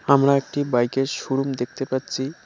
আমরা একটি বাইকের শোরুম দেখতে পাচ্চি ।